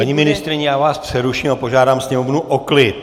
Paní ministryně, já vás přeruším a požádám sněmovnu o klid.